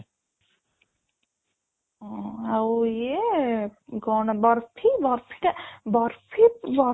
ଉଁ ଆଉ ଇଏ କ'ଣ ଟା ଟା